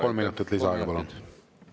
Kolm minutit lisaaega, palun!